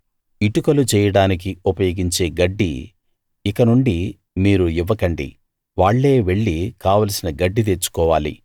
ఇటుకలు చేయడానికి ఉపయోగించే గడ్డి ఇకనుండి మీరు ఇవ్వకండి వాళ్ళే వెళ్లి కావలసిన గడ్డి తెచ్చుకోవాలి